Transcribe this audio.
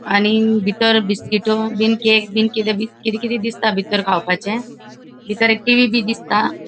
आणि बितर बिस्किटो बिन केक बिन किते किते तरी दिसता खावपाचे बितर एक टी.वी. बी दिसता.